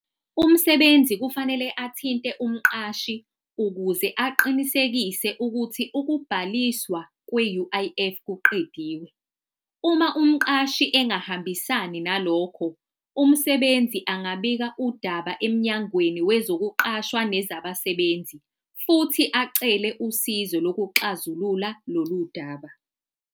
Umsebenzi kufanele athinte umqashi ukuze aqinisekise ukuthi ukubhaliswa kwe-U_I_F kuqediwe. Uma umqashi engahambisani nalokho, umsebenzi angabika udaba emnyangweni wezokuqashwa nezabasebenzi, futhi acele usizo lokuxazulula lolu daba.